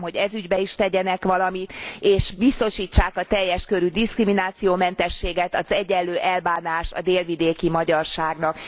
Kérem, hogy ez ügyben is tegyenek valamit, és biztosítsák a teljes körű diszkriminációmentességet, az egyenlő elbánást a délvidéki magyarságnak.